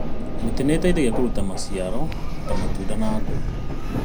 Mĩtĩ ĩteithagia kũruta maciaro ta matunda na ngũ.